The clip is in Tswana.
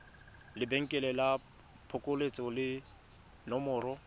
lebenkele la phokoletso le nomoro